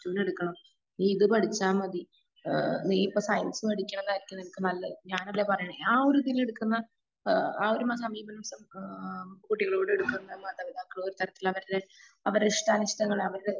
പ്ലസ്ട്ടുവിനു എടുക്കണം. ഇനി ഇത് പഠിച്ചാ മതി. ഏഹ് നീ ഇപ്പൊ സയൻസ് പഠിക്കിണതായിരിക്കും നിനക്ക് നല്ലത്. ഞാൻ അതാ പറയുന്നത്. ആ ഒരുതില് ഇടുക്കുന്ന ആ ഒരു ആ കുട്ടികളോട് എടുക്കുന്ന മാതാപിതാകള് ഒരു തരത്തിലവര് അവരുടെ ഇഷ്ട്ടാനിഷ്ടങ്ങള് അവരുടെ